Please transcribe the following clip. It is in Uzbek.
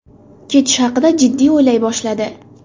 Ketish haqida jiddiy o‘ylay boshladi.